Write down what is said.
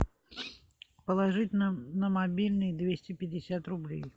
положить на мобильный двести пятьдесят рублей